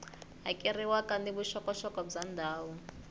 hakeriwaka ni vuxokoxoko bya ndhawu